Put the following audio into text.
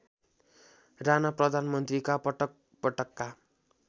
राणा प्रधानमन्त्रीका पटकपटकका